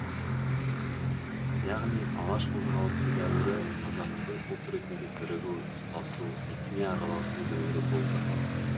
яғни алаш қозғалысы дәуірі қазақтың ұлт ретінде бірігу тұтасу етене араласу дәуірі болды